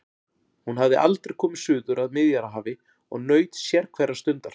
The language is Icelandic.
Hún hafði aldrei komið suður að Miðjarðarhafi og naut sérhverrar stundar.